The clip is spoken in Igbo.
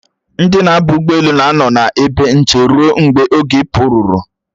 Ndi na-aba ụgbọelu na-anọ n'ebe nche ruo mgbe oge ịpụ ruru